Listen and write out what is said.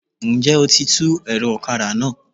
N jẹ́ o ti tú ẹ̀rọ ọ̀kadà náà?